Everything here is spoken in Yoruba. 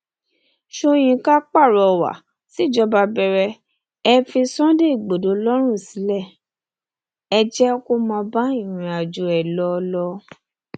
sọyìnkà pàrọwà síjọba bẹrẹ ẹ fi sunday igbodò lọrùn sílẹ o ẹ jẹ kó máa bá irìnàjò ẹ lọ lọ